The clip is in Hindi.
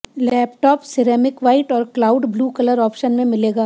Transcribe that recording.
लैपटॉप सिरेमिक व्हाइट और क्लाउड ब्लू कलर ऑप्शन में मिलेगा